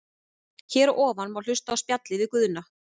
Hér að ofan má hlusta á spjallið við Guðna.